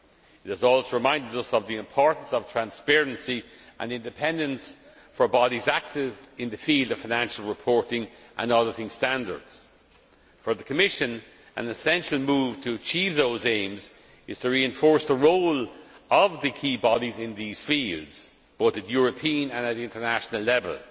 It has also reminded us of the importance of transparency and independence for bodies active in the field of financial reporting and auditing standards. For the Commission, an essential move to achieve those aims is to reinforce the role of the key bodies in these fields, but at European and at international level.